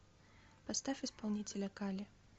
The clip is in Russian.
поставь исполнителя кали